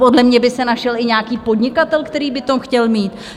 Podle mě by se našel i nějaký podnikatel, který by to chtěl mít.